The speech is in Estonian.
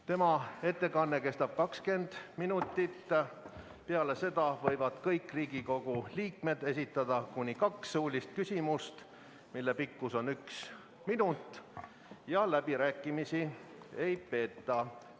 Tema ettekanne kestab 20 minutit, peale seda võivad kõik Riigikogu liikmed esitada kuni kaks suulist küsimust, mille pikkus on üks minut, ja läbirääkimisi ei peeta.